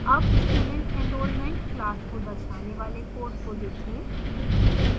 अब student enrollment class को दर्शाने वाले code को देखें